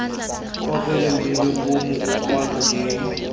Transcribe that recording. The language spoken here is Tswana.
kopelo mmino puo mokwalo j